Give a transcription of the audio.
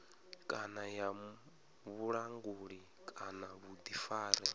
kana ya vhulanguli kana vhuḓifari